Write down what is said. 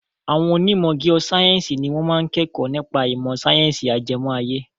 Àwọn onímọ̀ giosáyẹ̀nsì ni wọ́n máa ń kẹ́kọ̀ọ́ nípa ìmọ̀ sáyẹ́nsì ajẹmọ́ ayé.